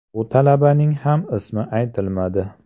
Bu talabaning ham ismi aytilmadi.